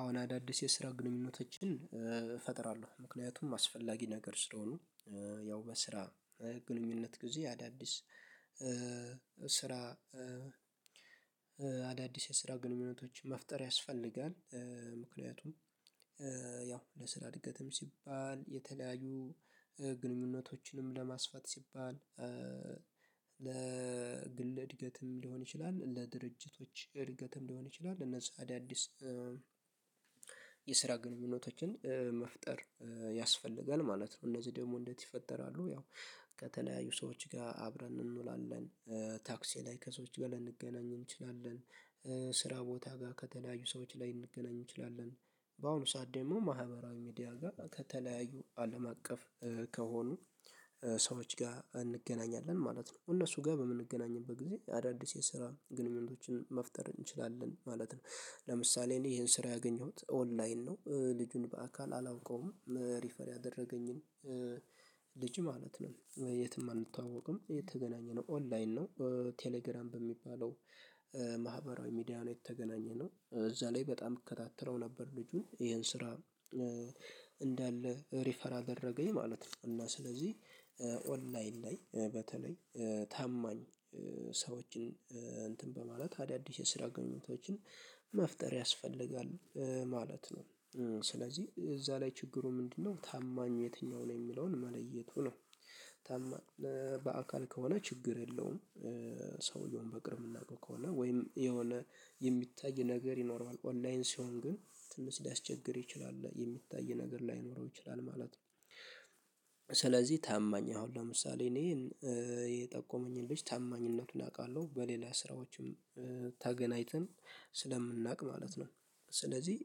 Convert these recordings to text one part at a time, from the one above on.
አሁን አዳዲስ የስራ ግንኙነቶችን እፈጥራለሁ ምክንያቱም አስፈላጊ ነገር ስለሆኑ ያው በስራ ግንኙነት ጊዜ አዳዲስ ስራ። አዳዲስ የስራ ግንኙነቶችን መፍጠር ያስፈልጋል ምክንያቱም ያው ለስራ እድገትም ሲባል የተለያዩ ግንኙነቶችንም ለማስፋት ሲባል ለግል እድገትም ሊሆን ይችላል ለድርጅቶች እድገትም ሊሆን ይችላል እነዚህ አዳዲስ የስራ ግንኙነቶችን መፍጠር ያስፈልጋል ማለት ነው። እነዚህ ደግሞ እንዴት ይፈጠራሉ? ያው ከተለያዩ ሰዎች ጋር አብረን እንውላለን ታክሲ ላይ ከሰዎች ጋር ልንገናኝ እንችላለን። ስራ ቦታ ጋር ከተለያዩ ሰዎች ላይ ልንገናኝ እንችላለን በአሁኑ ሰዓት ደግሞ ማህበራዊ ሚዲያ ጋር ከተለያዩ አለም አቀፍ ከሆኑ ሰዎች ጋር እንገናኛለን ማለት ነው። እነሱ ጋር በምንገናኝበት ጊዜ አዳዲስ የስራ ግንኙነቶችን መፍጠር እንችላለን ማለት ነው። ለምሳሌ እኔ ይሄን ስራ ያገኘሁት ኦንላይን ነው ልጁን በአካል አላውቀውም ሪፈር ያደረገኝን ልጅ ማለት ነው የትም አንተዋወቅም የተገናኘነው ኦንላይን ነው። ቴሌግራም በሚባለው ማህበራዊ ሚዲያ ነው የተገኘነው እዚያ ላይ በጣም እከታተለው ነበር። ልጁን ይሄን ስራ ሪፈር አደረገኝ ማለት ነው። እና ስለዚህ ኦንላይን ላይ በተለይ ታማኝ ሰዎችን እንትን በማለት አዳዲስ የስራ ግንኙነቶች መፍጠር ያስፈልጋል ማለት ነው። ስለዚህ እዚያ ላይ ችግሩ ምንድነው? ታማኝ የትኛው ነው የሚለውን መለየቱ ነው። በአካል ከሆነ ችግር የለውም። ሰውየውን በቅርብ የምናውቀው ከሆነ ወይም የሆነ የሚታይ ነገር ይኖሯዋል ኦንላይን ሲሆን ግን ትንሽ ሊያስቸግር ይችላል የሚታይ ነገር ላይኖረው ይችላል ማለት ነው። ስለዚህ ታማኝ አሁን ለምሳሌ እኔ የጠቆመኝን ልጅ ታማኝነቱን አውቃለሁ በሌላ ስራዎችም ተገናኝተን ስለምናውቅ ማለት ነው ስለዚህ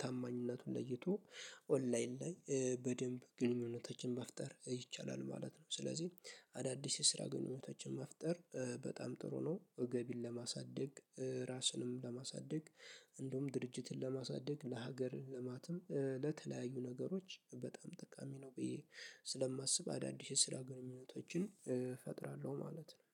ታማኝነቱን ለይቶ ኦንላይን ላይ በደንብ ግንኙነታችን መፍጠር ይቻላል ማለት ነው። ስለዚህ አዳዲስ የስራ ግንኙነቶችን መፍጠር በጣም ጥሩ ነው። ገቢን ለማሳደግ ራስንም ለማሳደግ እንደውም ድርጅትን ለማሳደግ ለሀገር ልማትም ለተለያዩ ነገሮች በጣም ጠቃሚ ነው። ብዬ ስለማስብ አዳዲስ የስራ ግንኙነቶችን እፈጥራለሁ ማለት ነው